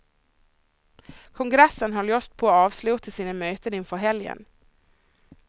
Kongressen höll just på att avsluta sina möten inför helgen.